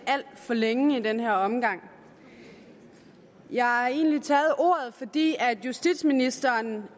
for længe i den her omgang jeg har egentlig taget ordet fordi justitsministeren